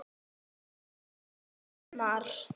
Nema núna í sumar.